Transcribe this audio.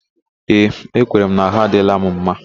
Ee, ekwere m na ahụ adịla m mma